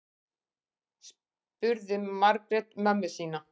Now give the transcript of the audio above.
spurði margrét mömmu sína